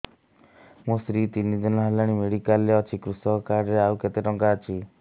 ମୋ ସ୍ତ୍ରୀ ତିନି ଦିନ ହେଲାଣି ମେଡିକାଲ ରେ ଅଛି କୃଷକ କାର୍ଡ ରେ ଆଉ କେତେ ଟଙ୍କା ଅଛି